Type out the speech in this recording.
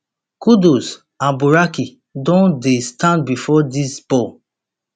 kudus and bukari don dey stand bifor dis ball